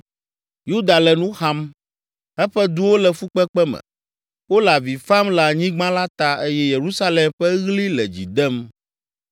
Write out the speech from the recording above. “Yuda le nu xam, eƒe duwo le fukpekpe me, wole avi fam le anyigba la ta eye Yerusalem ƒe ɣli le dzi dem.